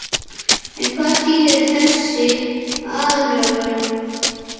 En hvað þýðir þessi aðlögun?